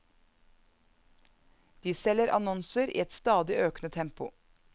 De selger annonser i et stadig økende tempo.